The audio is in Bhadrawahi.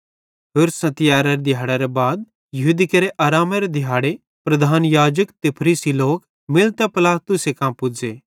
होरसां तियैरारे दिहाड़ेरे बाद यहूदी केरे आरामेरे दिहाड़े प्रधान याजक ते फरीसी लोक मिलतां पिलातुसे कां पुज़े